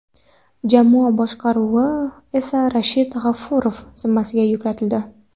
Jamoa boshqaruvi esa Rashid G‘ofurov zimmasiga yuklatildi.